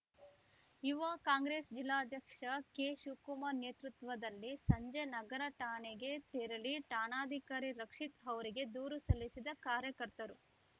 ಯುವ ಕಾಂಗ್ರೆಸ್‌ ಜಿಲ್ಲಾಧ್ಯಕ್ಷ ಕೆಶಿವಕುಮಾರ್‌ ನೇತೃತ್ವದಲ್ಲಿ ಸಂಜೆ ನಗರ ಠಾಣೆಗೆ ತೆರಳಿ ಠಾಣಾಧಿಕಾರಿ ರಕ್ಷಿತ್‌ ಅವರಿಗೆ ದೂರು ಸಲ್ಲಿಸಿದ ಕಾರ್ಯಕರ್ತರು